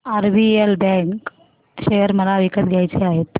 RBL bank share मला विकत घ्यायचे आहेत